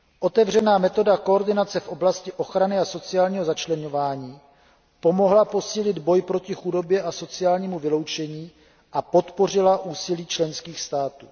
Otevřená metoda koordinace v oblasti ochrany a sociálního začleňování pomohla posílit boj proti chudobě a sociálnímu vyloučení a podpořila úsilí členských států.